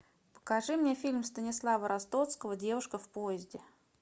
покажи мне фильм станислава ростоцкого девушка в поезде